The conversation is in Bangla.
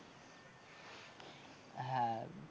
হ্যাঁ।